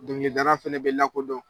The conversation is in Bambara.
Dɔngilidala fɛnɛ bɛ lakodɔn.